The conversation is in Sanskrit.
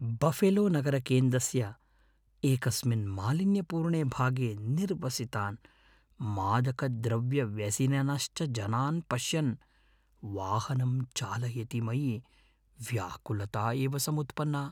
बफेलोनगरकेन्द्रस्य एकस्मिन् मालिन्यपूर्णे भागे निर्वसितान्, मादकद्रव्यव्यसनिनश्च जनान् पश्यन् वाहनं चालयति मयि व्याकुलता एव सम्पुत्पन्ना।